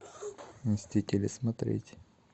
мстители смотреть